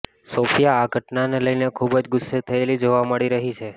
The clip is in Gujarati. સોફિયા આ ઘટનાને લઈને ખુબ જ ગુસ્સે થયેલી જોવા મળી રહી છે